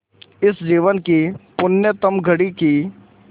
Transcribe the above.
इस जीवन की पुण्यतम घड़ी की स्